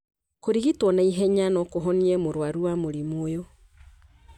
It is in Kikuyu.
Kũrigitwo na ihenya no kũhonokie mũruaru wa mũrimũ ũyũ.